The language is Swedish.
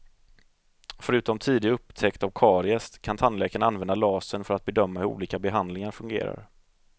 Förutom tidig upptäckt av karies kan tandläkarna använda lasern för att bedöma hur olika behandlingar fungerar.